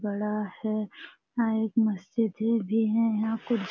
बड़ा है यहां एक मस्जिद भी है यहाँ कुछ --